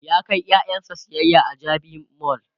ya kai ƴaƴansa sayayya a jabi mall